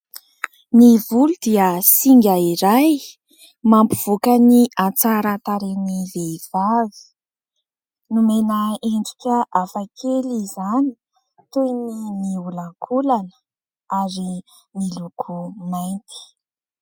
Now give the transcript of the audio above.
Ny volo dia singa iray mampivoaka ny hatsaran-tarehan'ny vehivavy, nomena endrika hafakely izany toy ny miolakolana ary miloko mainty.